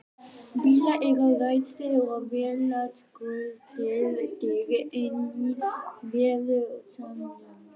Bílar eru ræstir og vélarskröltið deyr inní veðurofsanum.